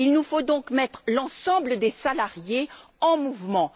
Il nous faut donc mettre l'ensemble des salariés en mouvement.